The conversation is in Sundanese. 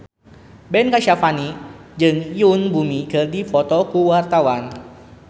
Ben Kasyafani jeung Yoon Bomi keur dipoto ku wartawan